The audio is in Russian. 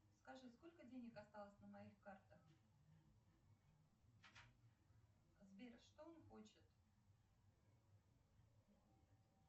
скажи сколько денег осталось на моих картах сбер что он хочет